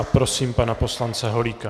A prosím pana poslance Holíka.